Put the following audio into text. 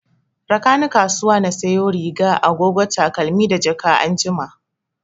Rakani kasuwa na sayo riga, agogo, takalmi da jaka anjima